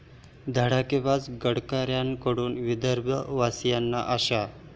धडाकेबाज गडकरींकडून विदर्भवासीयांना आशा